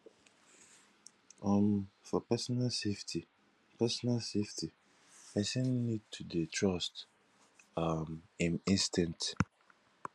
um for personal safety personal safety person need to dey trust um im instinct